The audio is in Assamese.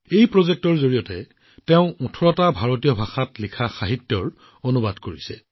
এই প্ৰকল্পৰ জৰিয়তে তেওঁ ১৮টা ভাৰতীয় ভাষাত লিখা সাহিত্য অনুবাদ কৰিছে